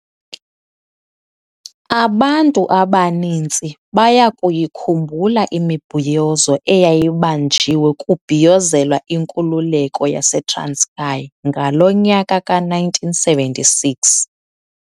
Abantu abaninzi bayakuyikhumbula imibhiyozo eyayibanjiwe kubhiyozelwa inkululeko yasetranskei ngalo nyaka ka1976.